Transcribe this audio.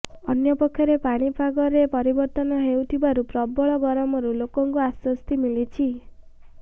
ଅନ୍ୟପକ୍ଷରେ ପାଣିପାଗରେ ପରିବର୍ତ୍ତନ ହେଉଥିବାରୁ ପ୍ରବଳ ଗରମରୁ ଲୋକଙ୍କୁ ଆଶ୍ୱସ୍ତି ମିଳିଛି